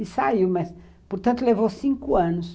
E saiu, mas, portanto, levou cinco anos.